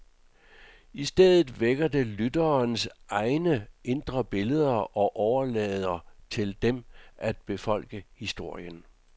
I stedet vækker det lytterens egne indre billeder og overlader til dem at befolke historien.